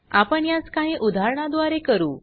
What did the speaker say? आपण यास काही उदाहरणा द्वारे करू